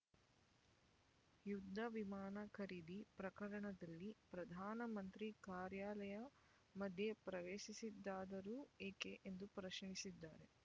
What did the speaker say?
ಯುದ್ಧ ವಿಮಾನ ಖರೀದಿ ಪ್ರಕರಣದಲ್ಲಿ ಪ್ರಧಾನ ಮಂತ್ರಿ ಕಾರ್ಯಾಲಯ ಮಧ್ಯೆ ಪ್ರವೇಶಿಸಿದ್ದಾದರೂ ಏಕೆ ಎಂದು ಪ್ರಶ್ನಿಸಿದ್ದಾರೆ